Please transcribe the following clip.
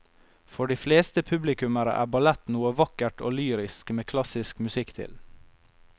For de fleste publikummere er ballett noe vakkert og lyrisk med klassisk musikk til.